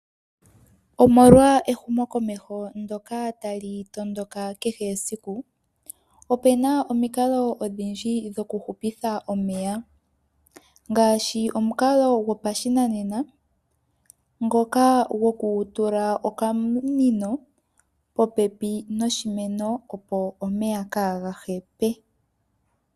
Omolwa ehumo komeho ndoka ta li tondoka kehe esiku. Opena omikalo odhindji dhokuhupitha omeya ngaashi omikalo gopashinanena ngoka go kutula okamunino popepi noshinemo opo omeya ka ga hepe.